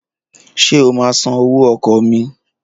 Ṣé o máa san owó ọkọ̀ mi?